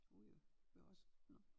Ude ved os nå